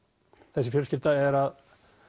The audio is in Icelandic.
þessi fjölskylda er að